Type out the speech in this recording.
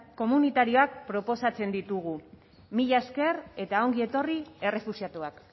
komunitarioak proposatzen ditugu mila esker eta ongi etorri errefuxiatuak